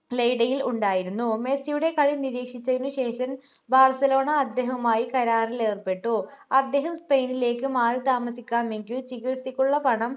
ലെയ്ഡയിൽ ഉണ്ടായിരുന്നു മെസ്സിയുടെ കളി നിരീക്ഷിച്ചതിനു ശേഷം ബാർസലോണ അദ്ദേഹവുമായി കരാറിലേർപ്പെട്ടു അദ്ദേഹം സ്പെയിനിലേക്ക് മാറി താമസിക്കാമെങ്കിൽ ചികിത്സക്കുള്ള പണം